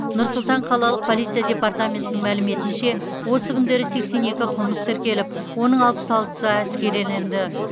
нұр сұлтан қалалық полиция департаментінің мәліметінше осы күндері сексен екі қылмыс тіркеліп оның алпыс алтысы әшкереленді